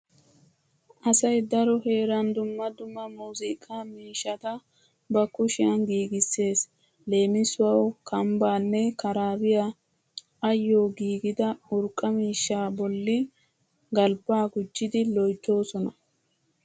Asay daro heeran dumma dumma muuziiqaa miishshata ba kushiyan giigissees. Leemisuwawu kambbaanne karaabiya ayyoo giigida urqqa miishshaa bolli galbbaa gujjidi loyttoosona.